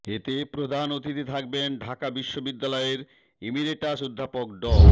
এতে প্রধান অতিথি থাকবেন ঢাকা বিশ্ববিদ্যালয়ের ইমিরেটাস অধ্যাপক ড